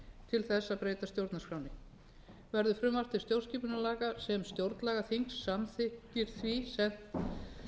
til þess að breyta stjórnarskránni verður frumvarp til stjórnarskipunarlaga sem stjórnlagaþing samþykkir því sent